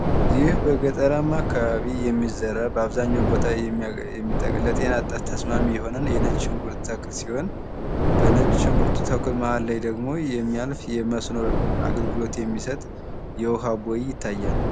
ይህ በገጠራማ አካባቢ የሚዘራ በአብዛኛው ቦታ የሚጠቅም ከጤና አንጻር ተስማሚ የሆነ የነጭ ሽንኩርት ተክል ሲሆን በነጭ ሽንኩርት መሃል ላይ ደግሞ የሚያልፍ የመስኖ አገልግሎት የሚሰጥ የዉሃ ቦይ ይታያል።